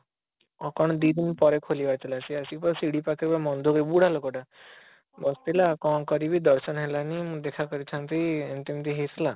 ଅଂ କଣ ଦି ଦିନ ପରେ ଖୋଲିବାର ଥିଲା ସେ ଆସି ପୁରା ସିଡ଼ି ପାଖରେ ମନ ଦୁଃଖ ରେ ବୁଢା ଲୋକ ଟା ବସିଥିଲା କଣ କରିବି ଦର୍ଶନ ହେଲାଣି ମୁଁ ଦେଖା କରିଥାନ୍ତି ଏମିତି ଏମିତି ହେଇଥିଲା